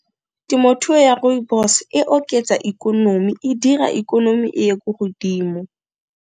Temothuo ya Rooibos e oketsa ikonomi, e dira ikonomi e ye ko godimo.